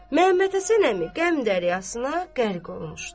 Məmməd Həsən əmi qəm dəryasına qərq olmuşdu.